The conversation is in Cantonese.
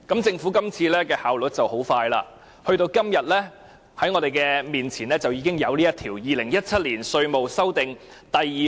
政府這次效率很高，今天放在我們面前已經有《2017年稅務條例草案》。